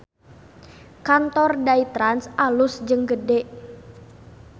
Kantor Day Trans alus jeung gede